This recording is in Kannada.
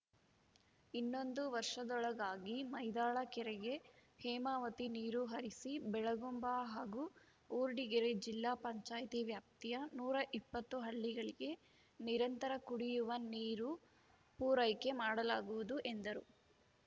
ಇನ್ನೊಂದು ವರ್ಷದೊಳಗಾಗಿ ಮೈದಾಳ ಕೆರೆಗೆ ಹೇಮಾವತಿ ನೀರು ಹರಿಸಿ ಬೆಳಗುಂಬ ಹಾಗೂ ಊರ್ಡಿಗೆರೆ ಜಿಲ್ಲಾ ಪಂಚಾಯ್ತಿ ವ್ಯಾಪ್ತಿಯ ನೂರ ಇಪ್ಪತ್ತು ಹಳ್ಳಿಗಳಿಗೆ ನಿರಂತರ ಕುಡಿಯುವ ನೀರು ಪೂರೈಕೆ ಮಾಡಲಾಗುವುದು ಎಂದರು